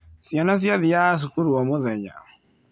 Ciana ciathiaga cukuru o mũthenya.